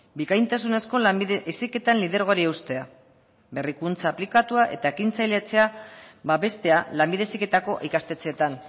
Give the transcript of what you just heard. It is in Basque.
bikaintasunezko lanbide heziketan lidergoari eustea berrikuntza aplikatua eta ekintzailea babeste lanbide heziketako ikastetxeetan